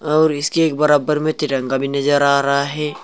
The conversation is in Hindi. और इसके एक बराबर में तिरंगा भी नजर आ रहा है।